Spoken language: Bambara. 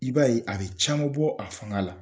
I b'a ye a bɛ caman bɔ a fanga la.